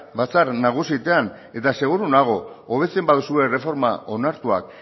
batzar nagusietan eta seguru nago hobetzen baduzue erreforma onartuak